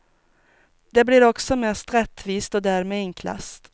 Det blir också mest rättvist och därmed enklast.